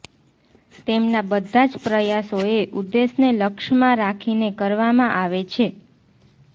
તેમના બધા જ પ્રયાસો એ ઉદ્દેશને લક્ષમાં રાખીને કરવામાં આવે છે